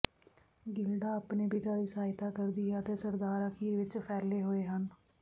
Gilda ਆਪਣੇ ਪਿਤਾ ਦੀ ਸਹਾਇਤਾ ਕਰਦੀ ਹੈ ਅਤੇ ਸਰਦਾਰ ਅਖੀਰ ਵਿਚ ਫੈਲੇ ਹੋਏ ਹਨ